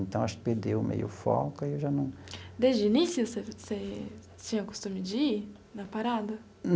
Então, acho que perdeu meio o foco e eu já não... Desde o início, você você você tinha o costume de ir na parada?